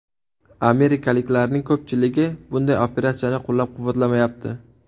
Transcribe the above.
Amerikaliklarning ko‘pchiligi bunday operatsiyani qo‘llab-quvvatlamayapti.